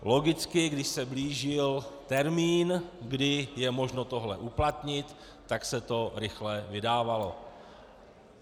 Logicky když se blížil termín, kdy je možno tohle uplatnit, tak se to rychle vydávalo.